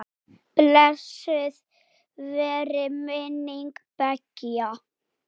Blessuð veri minning beggja.